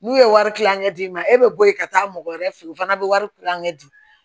N'u ye wari kilankɛ d'i ma e bɛ bɔ yen ka taa mɔgɔ wɛrɛ fɛ yen o fana bɛ wari kilankɛ di